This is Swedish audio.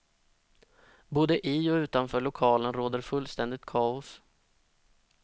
Både i och utanför lokalen råder fullständigt kaos.